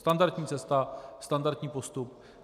Standardní cesta, standardní postup.